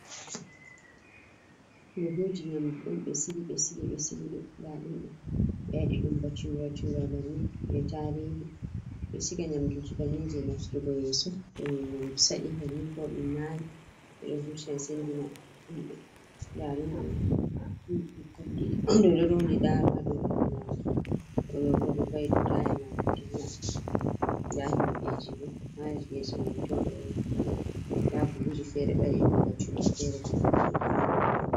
Buhuji nyamdu un be sili be sili be siliɗum ndadum. Be wadi dum bacura cura bannin be tarihi. Bedo siga nyamduji bannin gam nafturgo yeso. Too nyamdu sadi bannin ko dum nayi bedo vurtina sendina hinbe. Ndaa dum bikkoi ɗiɗi bedo rooɗi nɗaro ha dau horemabbe. Ooɗo bo oɗo va'i ɗau tayanako ɗilla. Ɗa himbe jibo ha yesoman tooɗo beɗo huwa. Nɗa buhuji fere be wadi dum baccura fere bo ɗammuɗum ɗammuɗum